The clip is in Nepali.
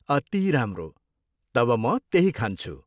अति राम्रो! तब म त्यही खान्छु।